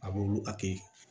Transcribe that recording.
A b'olu a kɛ